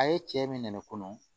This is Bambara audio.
A ye cɛ min nɛ kɔnɔ